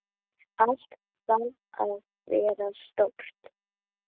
Allt þarf að vera stórt.